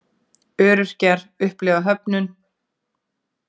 Öryrkjar upplifa höfnun